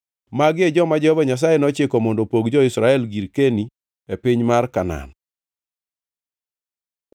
Magi e joma Jehova Nyasaye nochiko mondo opog jo-Israel girkeni e piny Kanaan.